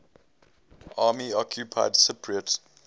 army occupied cypriot